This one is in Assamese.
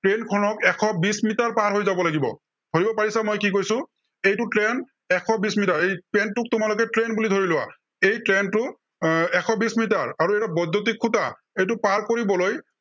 train খনক এশ বিশ মিটাৰ পাৰ হৈ যাব লাগিব। ধৰিব পাৰিছা, মই কি কৈছো, এইটো train এশ বিশ মিটাৰ। এই train টোক তোমালোকে train বুলি ধৰি লোৱা, এই train টো আহ এশ বিশ মিটাৰ আৰু এইটো বৈদ্য়ুতিক খুটা। এইটো পাৰ কৰিবলৈ